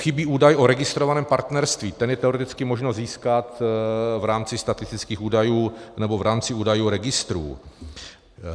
Chybí údaj o registrovaném partnerství, ten je teoreticky možno získat v rámci statistických údajů nebo v rámci údajů registrů.